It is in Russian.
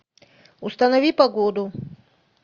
установи погоду